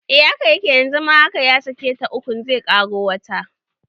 Eh haka yake yanzu ma haka ya saki ta ukun zai ƙaro wata